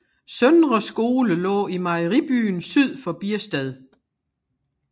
Søndre Skole lå i Mejeribyen syd for Biersted